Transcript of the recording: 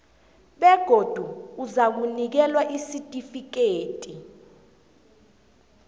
begodu uzakunikelwa isitifikhethi